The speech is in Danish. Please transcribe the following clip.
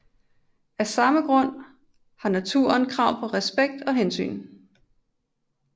Af samme grund har selv naturen krav på respekt og hensyn